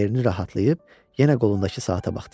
Yerini rahatlayıb yenə qolundakı saata baxdı.